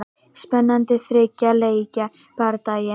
Spennandi þriggja leikja bardagi.